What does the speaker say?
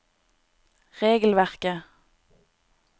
regelverket